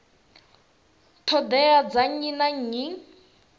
ṱhoḓea dza nnyi na nnyi